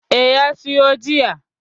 Eh, ya siyo jiya.